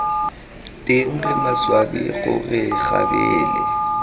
teng re maswabi gore kgabele